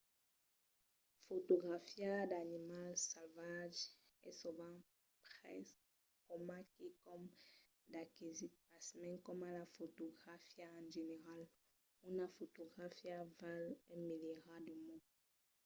fotografiar d’animals salvatges es sovent pres coma quicòm d’aquesit pasmens coma la fotografia en general una fotografia val un milierat de mots